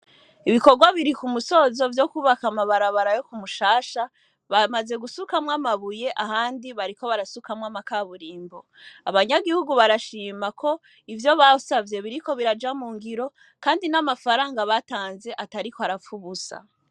Ibikorwa biri kumusozo vyokubaka amabarabara yo kumushasha bamaze gusukamwo amabuye ahandi bariko barasukamwo amakaburimbo, abanyagihugu barashima ko ivyo basavye biriko birashirwa mungiro kandi amafaranga batanze atariko arapfa ubusa.